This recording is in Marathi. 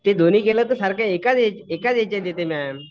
ते दोन्ही केलं तर ते एकाच याच्यात येते मॅम.